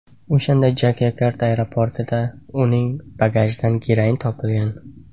O‘shanda Jokyakarta aeroportida uning bagajidan geroin topilgan.